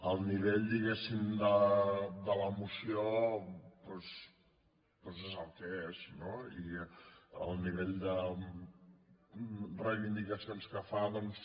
el nivell diguéssim de la moció doncs és el que és no i el nivell de reivindicacions que fa doncs